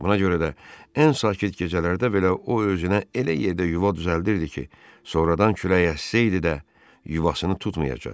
Buna görə də ən sakit gecələrdə belə o özünə elə yerdə yuva düzəldirdi ki, sonradan külək əssəydi də, yuvasını tutmayacaq.